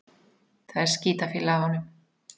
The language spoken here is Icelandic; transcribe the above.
Það er skítafýla af honum.